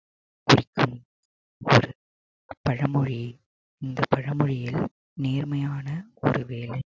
குறிக்கும் ஒரு பழமொழி இந்த பழமொழியில் நேர்மையான ஒரு வேலை